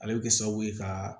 Ale bɛ kɛ sababu ye ka